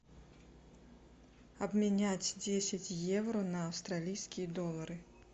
обменять десять евро на австралийские доллары